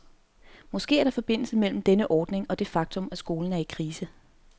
Måske er der forbindelse mellem denne ordning og det faktum, at skolen er i krise.